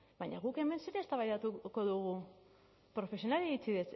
baina guk hemen zer eztabaidatuko dugu profesionalei